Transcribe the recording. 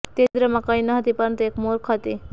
તે છિદ્રમાં કંઇ ન હતી પરંતુ એક મૂર્ખ હતી